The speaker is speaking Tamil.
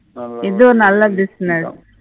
இதும் நல்ல business